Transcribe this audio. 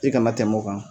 I kana tɛmɛ o kan